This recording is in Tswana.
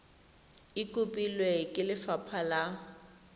e kopilwe ke lefapha la